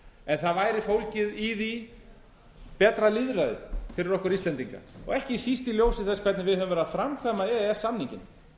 en það væri fólgið í því betra lýðræði fyrir okkur íslendinga og ekki síst í ljósi þess hvernig við höfum verið að framkvæma e e s samninginn